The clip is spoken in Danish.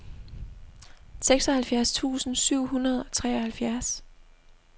seksoghalvfjerds tusind syv hundrede og treoghalvfjerds